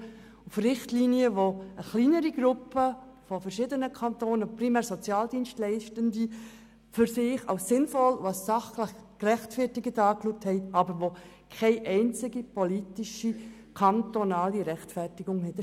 Dies sind Richtlinien, die eine kleinere Gruppe von verschiedenen Kantonen, primär Sozialdienstleitende, für sich als sinnvoll und als sachlich gerechtfertigt betrachten, die aber keine einzige politische kantonale Rechtfertigung haben.